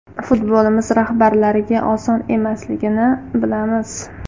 Futbolimiz rahbarlariga oson emasligini bilamiz.